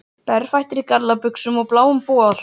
Berfættur í gallabuxum og bláum bol.